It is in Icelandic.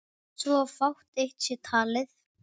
svo fátt eitt sé talið.